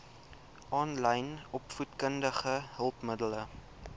aanlyn opvoedkundige hulpmiddele